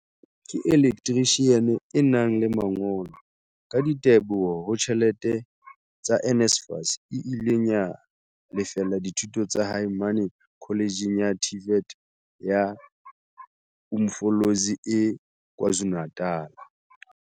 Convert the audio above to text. ke elektrishiane e nang le mangolo, ka diteboho ho tjhelete tsa NSFAS, e ileng ya lefella dithuto tsa hae mane Kholetjhe ya TVET ya Umfolozi e KwaZulu-Natal.